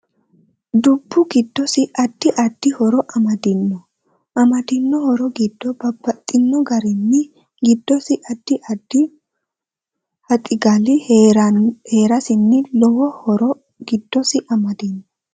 Dubbu giddosi addi addi horo amadino amadino horo giddo babaxino garinni giddosi addi addi haxigali heerasinni lowo horo giddosi amadinno